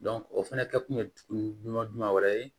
o fana kɛ kun ye jumɛn wɛrɛ ye